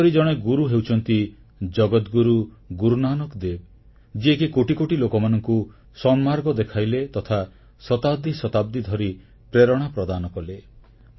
ଏହିପରି ଜଣେ ଗୁରୁ ହେଉଛନ୍ତି ଜଗଦ୍ଗୁରୁ ଗୁରୁ ନାନକଦେବ ଯିଏକି କୋଟି କୋଟି ଲୋକମାନଙ୍କୁ ସନ୍ମାର୍ଗ ଦେଖାଇଲେ ତଥା ଶତାବ୍ଦୀ ଶତାବ୍ଦୀ ଧରି ପ୍ରେରଣା ପ୍ରଦାନ କଲେ